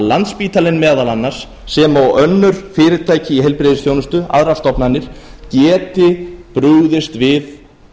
landspítalinn meðal annars sem og önnur fyrirtæki í heilbrigðisþjónustu aðrar stofnanir geti brugðist við